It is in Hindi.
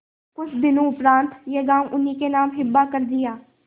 कुछ दिनों उपरांत यह गॉँव उन्हीं के नाम हिब्बा कर दिया